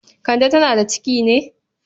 Kande tana da ciki ne?